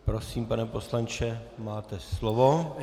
Prosím, pane poslanče, máte slovo.